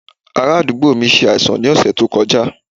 Ará àdúgbò mi ṣe àìsàn ní ọ̀sẹ̀ tó kọjá